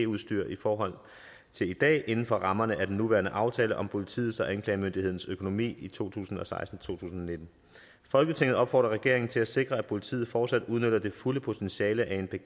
udstyr i forhold til i dag inden for rammerne af den nuværende aftale om politiets og anklagemyndighedens økonomi i to tusind og seksten til nitten folketinget opfordrer regeringen til at sikre at politiet fortsat udnytter det fulde potentiale af